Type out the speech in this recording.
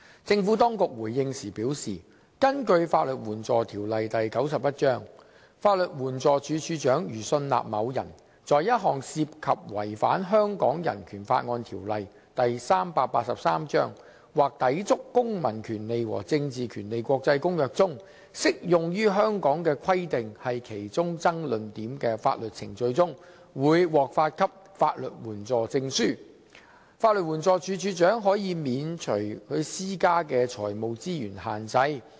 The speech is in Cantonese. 政府當局回應時表示，根據《法律援助條例》，法律援助署署長如信納某人在一項涉及違反《香港人權法案條例》或抵觸《公民權利和政治權利國際公約》中適用於香港的規定是其中爭論點的法律程序中，會獲發給法律援助證書，法律援助署署長可以免除所施加的財務資源限制。